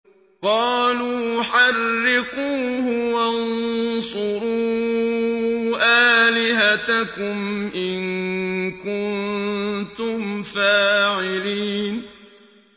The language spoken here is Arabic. قَالُوا حَرِّقُوهُ وَانصُرُوا آلِهَتَكُمْ إِن كُنتُمْ فَاعِلِينَ